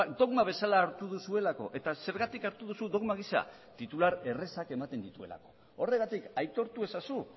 dogma bezala hartu duzuelako eta zergatik hartu duzu dogma gisa titular errazak ematen dituelako horregatik aitortu ezazu